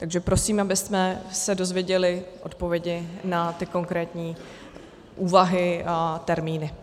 Takže prosím, abychom se dozvěděli odpovědi na ty konkrétní úvahy a termíny.